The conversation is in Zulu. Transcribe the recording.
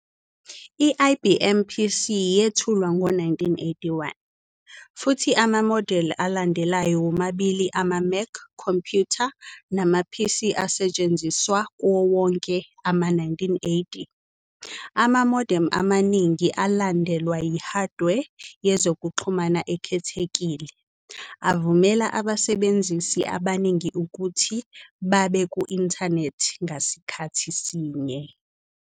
I-IBM PC yethulwa ngo-1981, futhi amamodeli alandelayo womabili ama-Mac computer kanye nama-PC asetshenziswa kuwo wonke ama-1980. Ama-modem amaningi, alandelwa yi-hardware yezokuxhumana ekhethekile, avumela abasebenzisi abaningi ukuthi babe ku-inthanethi ngasikhathi sinye.